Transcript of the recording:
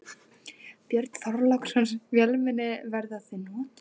Björn Þorláksson: Vélmenni, verða þau notuð?